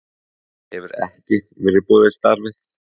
Hefur ekki verið boðið starfið